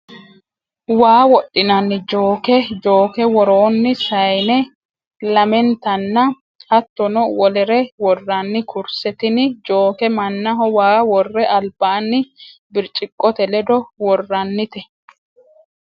Waa wodhinanni jooke, jooke woronni sayinne lamentanna hattono wolere woranni kurise, tini jooke manaho waa wore alibani biricciqote ledo woranite